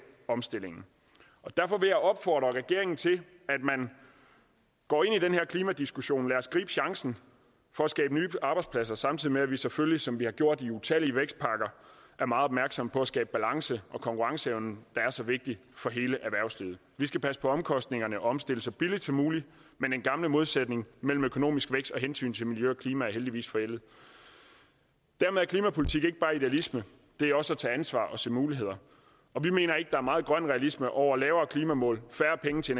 omstillingen derfor vil jeg opfordre regeringen til at man går ind i den her klimadiskussion lad os gribe chancen for at skabe nye arbejdspladser samtidig med at vi selvfølgelig som vi har gjort i utallige vækstpakker er meget opmærksomme på at skabe balance og en konkurrenceevne der er så vigtig for hele erhvervslivet vi skal passe på omkostningerne og omstille så billigt som muligt men den gamle modsætning mellem økonomisk vækst og hensynet til miljø og klima er heldigvis forældet dermed er klimapolitik ikke bare idealisme det er også at tage ansvar og se muligheder og vi mener ikke er meget grøn realisme over lavere klimamål færre penge til